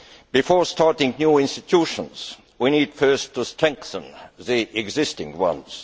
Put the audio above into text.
Before starting new institutions, we need first to strengthen the existing ones.